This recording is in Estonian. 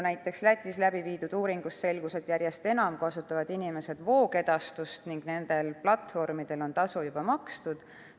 Näiteks selgus Lätis tehtud uuringust, et järjest enam kasutavad inimesed voogedastust ning nendel platvormidel on tasu juba makstud.